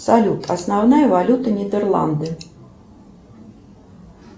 салют основная валюта нидерланды